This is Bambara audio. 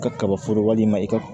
Ka kaba foro walima i ka